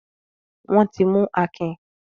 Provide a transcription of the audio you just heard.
Wọ́n ti mú Akin?